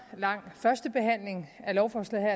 lang førstebehandling af lovforslaget